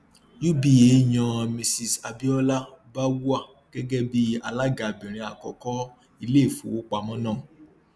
uba yan mrs abiola bawuah gẹgẹ bí alágabìnrin àkọkọ iléìfowópamọ náà